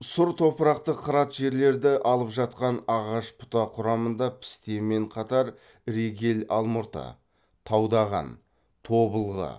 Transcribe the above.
сұр топырақты қырат жерлерді алып жатқан ағаш бұта құрамында пісте мен қатар регель алмұрты таудаған тобылғы